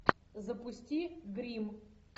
запусти гримм